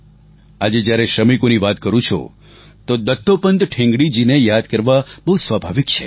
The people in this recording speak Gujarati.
આજે જ્યારે શ્રમિકોની વાત કરું છું તો દત્તોપંત ઠેંગડી જીને યાદ કરવા બહુ સ્વાભાવિક છે